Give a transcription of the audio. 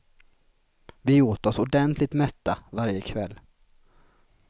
Vi åt oss ordentligt mätta varje kväll.